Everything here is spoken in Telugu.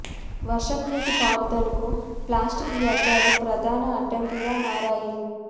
వర్షపు నీటి పారుదలకు ప్లాస్టిక్ వ్య ర్థాలు ప్రధాన అడ్డాంకిగా మారాయి